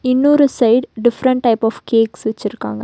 இன்னொரு side different type of cake வெச்சிருக்காங்க.